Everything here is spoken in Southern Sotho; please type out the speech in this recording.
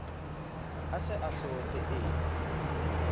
a se a hlotse e